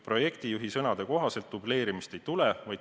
Projektijuhi sõnade kohaselt dubleerimist ei tule.